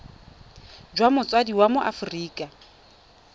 jwa motsadi wa mo aforika